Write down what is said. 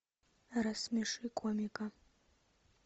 рассмеши комика